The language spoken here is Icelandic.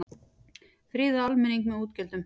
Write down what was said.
Friða almenning með útgjöldum